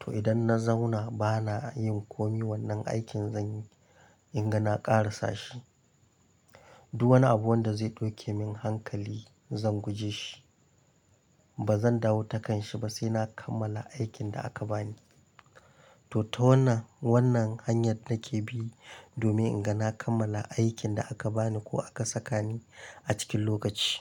To idan na zauna bana yin komi wannan aikin zan yi in ga na ƙarasa shi. Duk wani abu wanda zai ɗauke min hankali zan guje shi. Ba zan dawo takan shi ba sai na kammala aikin da aka bani. To ta wannan, wannan hanyar nake bi domin in ga na kammala aikin da aka bani ko aka saka ni a cikin lokaci.